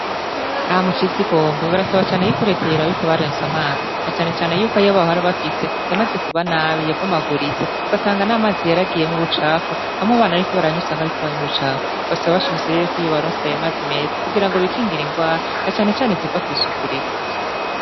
Aha mucizigombe barasaba cane yuko reta yaraba ikabarenswe amazi na canecane yuko ayabahori bafise yamaze kuba nabi yabomaguritse ugasanga n'amazi yaragiyemwo ubucafu hamwe bana, ariko baranyusanga, ariko banywa ubucafu basaba bashimise rere yuko iyo baronsi abimaze meza kugira ngo bikingira ingwara na canecane ziva kw'isukurike.